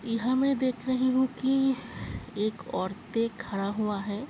ईहाँ मैं देख रही हूं कि एक औरतें खड़ा हुआ है।